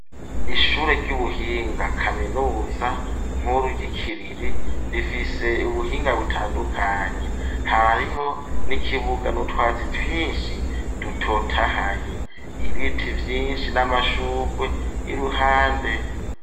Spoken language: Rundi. Ishure ry'ubuhinga, kaminuza nkuru, y'i Kiriri, rifise ubuhinga butandukanye; harariho n'ikibuga, n'utwatsi twinshi, dutotahaye; ibiti vyinshi n'amashurwe, i ruhande.